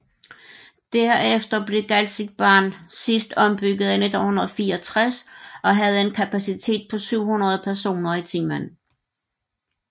Derefter blev Galzigbahn sidst ombygget i 1964 og havde en kapacitet på 700 personer i timen